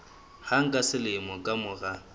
hang ka selemo ka mora